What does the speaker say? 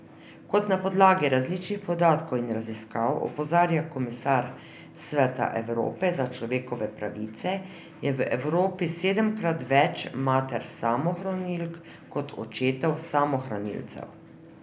Kot na podlagi različnih podatkov in raziskav opozarja komisar Sveta Evrope za človekove pravice, je v Evropi sedemkrat več mater samohranilk kot očetov samohranilcev.